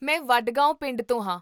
ਮੈਂ ਵਡਗਾਓਂ ਪਿੰਡ ਤੋਂ ਹਾਂ